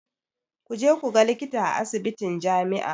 Ku je ku ga likita a asibitin jami'a.